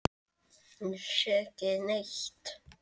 Ég sé ekki neitt.